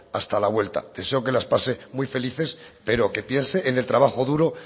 hasta la vuelta deseo que las pase muy felices pero que piense en el trabajo duro